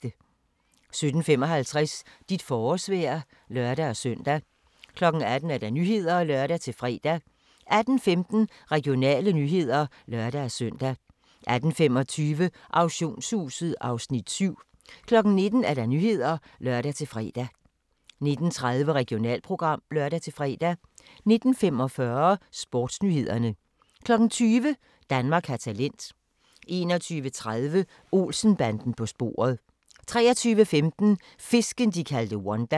17:55: Dit forårsvejr (lør-søn) 18:00: Nyhederne (lør-fre) 18:15: Regionale nyheder (lør-søn) 18:25: Auktionshuset (Afs. 7) 19:00: Nyhederne (lør-fre) 19:30: Regionalprogram (lør-fre) 19:45: SportsNyhederne 20:00: Danmark har talent 21:30: Olsen-banden på sporet 23:15: Fisken, de kaldte Wanda